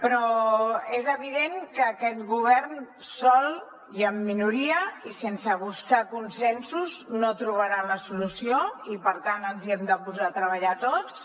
però és evident que aquest govern sol i en minoria i sense buscar consensos no trobarà la solució i per tant ens hi hem de posar a treballar tots